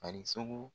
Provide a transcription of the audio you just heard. A ni sogo